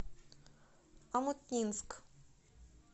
омутнинск